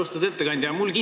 Austatud ettekandja!